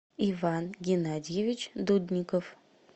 иван геннадьевич дудников